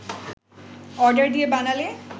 order দিয়ে বানালে